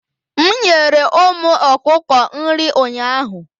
m nyere ụmụ okuko nri ụnyaahụ